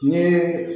N ye